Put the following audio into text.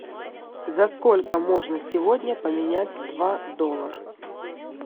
за сколько можно сегодня поменять два доллара